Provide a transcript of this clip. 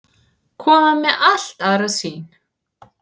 Koma með allt aðra sýn